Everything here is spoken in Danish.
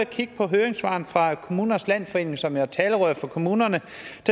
kigge på høringssvaret fra kommunernes landsforening som jo er talerør for kommunerne